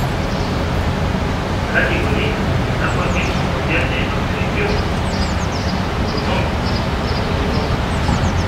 kaji eikoni tenebaki emoyian e autoimmune autonomic ganglionopathy?